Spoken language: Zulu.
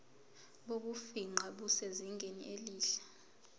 bokufingqa busezingeni elihle